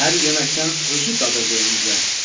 Hər yeməkdən özü dadırdı öncə.